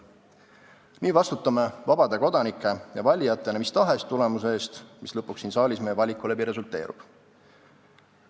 " Nii vastutame vabade kodanike ja valijatena mis tahes tulemuse eest, mis lõpuks siin saalis meie valiku läbi resulteerub.